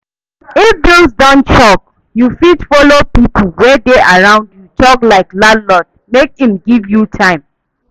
If bills don choke, you fit follow pipo wey dey around you talk like landlord make im give you time